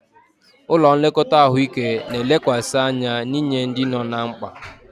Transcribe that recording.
Ụlọ nlekọta ahụike na-elekwasị anya n'inye ndị nọ ná mkpa.